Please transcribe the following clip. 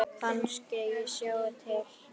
Kannske ég slái til.